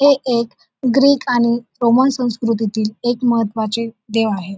हे एक ग्रीक आणि रोमन संस्कृतीतील एक महत्त्वाचे देव आहे.